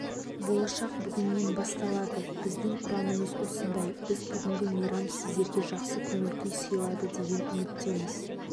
болашақ бүгіннен басталады біздің ұранымыз осындай біз бүгінгі мейрам сіздерге жақсы көңіл күй сыйлайды деген үміттеміз